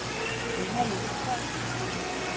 Emma Lindstrøm